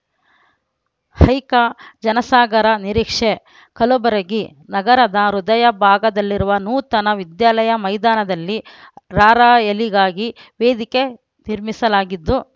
ಹೈಕ ಜನಸಾಗರ ನಿರೀಕ್ಷೆ ಕಲಬುರಗಿ ನಗರದ ಹೃದಯ ಭಾಗದಲ್ಲಿರುವ ನೂತನ ವಿದ್ಯಾಲಯ ಮೈದಾನದಲ್ಲಿ ರಾರ‍ಯಲಿಗಾಗಿ ವೇದಿಕೆ ನಿರ್ಮಿಸಲಾಗಿದ್ದು